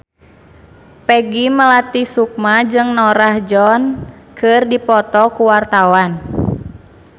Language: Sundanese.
Peggy Melati Sukma jeung Norah Jones keur dipoto ku wartawan